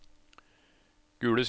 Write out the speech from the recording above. Gule Sider